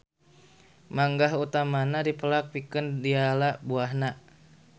Manggah utamana dipelak pikeun diala buahna.